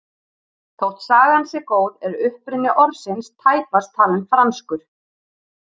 Þótt sagan sé góð er uppruni orðsins tæpast talinn franskur.